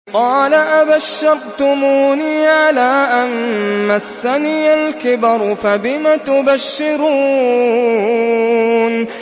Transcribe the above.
قَالَ أَبَشَّرْتُمُونِي عَلَىٰ أَن مَّسَّنِيَ الْكِبَرُ فَبِمَ تُبَشِّرُونَ